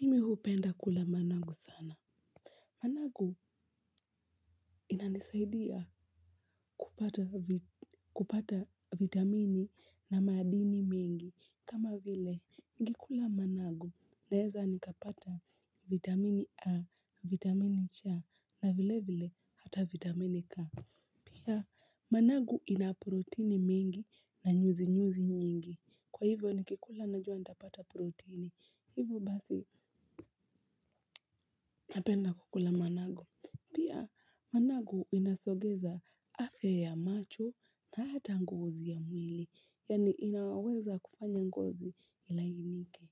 Mimi hupenda kula managu sana. Managu inanisaidia kupata vitamini na madini mingi. Kama vile, nikikula managu naeza nikapata vitamini A, vitamini C na vile vile hata vitamini K. Pia managu ina proteini mingi na nyuzinyuzi nyingi. Kwa hivyo nikikula najua nitapata proteini. Hivyo basi napenda kukula managu. Pia managu inasogeza afya ya macho na hata ngozi ya mwili, yaani inaweza kufanya ngozi ilainike.